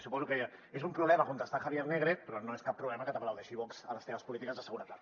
suposo que és un problema contestar javier negre però no és cap problema que t’aplaudeixi vox a les teves polítiques de seguretat